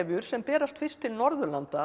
sem berast fyrst til Norðurlanda